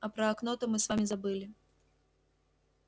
а про окно то мы с вами забыли